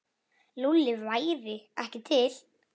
Lúlli væri ekki til.